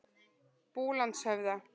Búlandshöfða